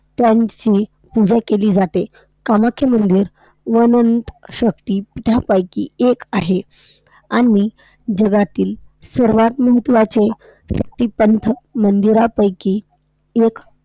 त्यांची पूजा केली जाते. कामाख्या मंदिर वनन्त शक्तिपीठांपैकी एक आहे आणि जगातील सर्वात महत्वाचे शक्तिपंथ मंदिरांपैकी एक